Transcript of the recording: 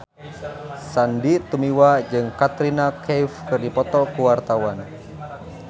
Sandy Tumiwa jeung Katrina Kaif keur dipoto ku wartawan